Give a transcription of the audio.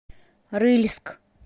рыльск